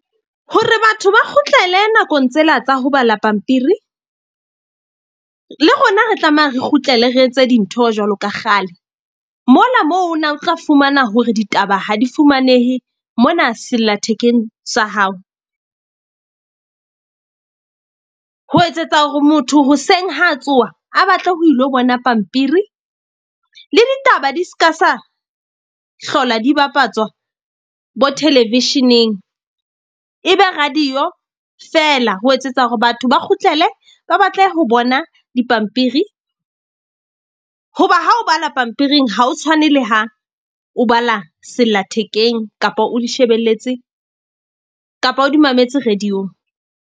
Hore batho ba kgutlele nakong tsela tsa ho bala pampiri, le rona re tlameha re kgutlele re etse dintho jwalo ka kgale. Mola moo na o tla fumana hore ditaba ha di fumanehe mona sellathekeng sa hao ho etsetsa hore motho hoseng ha tsoha, a batle ho ilo bona pampiri le ditaba di ska sa hlola di bapatswa bo-television-eng. E be radio feela ho etsetsa hore batho ba kgutlele, ba batle ho bona dipampiri. Hoba ha o bala pampiring ha o tshwane le ha o bala sellathekeng kapa o di shebelletse, kapa o di mametse radio- ng.